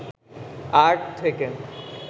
art থেকে